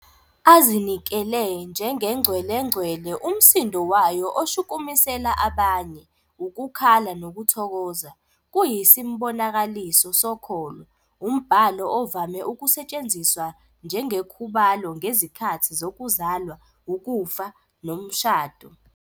azinikele "njengengcwelengcwele," umsindo wayo oshukumisela abanye "ukukhala nokuthokoza", kuyisimbonakaliso sokholo, umbhalo ovame ukusetshenziswa njengekhubalo ngezikhathi zokuzalwa, ukufa, umshado.